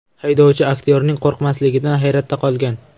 Haydovchi aktyorning qo‘rqmasligidan hayratda qolgan.